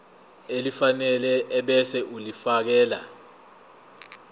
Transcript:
elifanele ebese ulifiakela